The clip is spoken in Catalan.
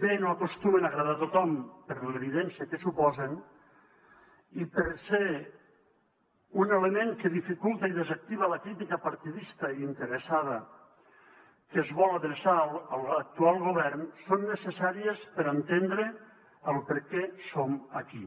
bé no acostumen a agradar a tothom per l’evidència que suposen i per ser un element que dificulta i desactiva la crítica partidista i interessada que es vol adreçar a l’actual govern són necessàries per entendre per què som aquí